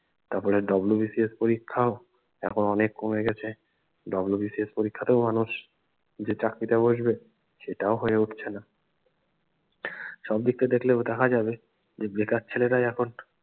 তারপরে WBCS পরীক্ষাও এখন অনেক কমে গেছে WBCS পরীক্ষা টাও মানুষ যে চাকরিতে বসবে সেটাও হয়ে উঠছে না সবদিকটা দেখলেও দেখা যাবে বেকার ছেলেরাই এখন